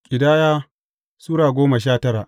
Ƙidaya Sura goma sha tara